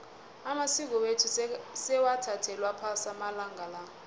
amasiko wethu sewathathelwa phasi amalanga la